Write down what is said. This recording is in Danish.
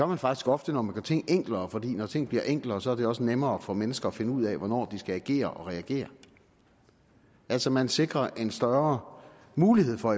man faktisk ofte når man gør ting enklere for når ting bliver enklere er det også nemmere for mennesker at finde ud af hvornår de skal agere og reagere altså man sikrer i en større mulighed for